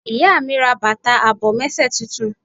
Ìyá mi ra bàtà àbòmésè titun